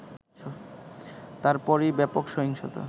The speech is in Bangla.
তারপরই ব্যাপক সহিংসতা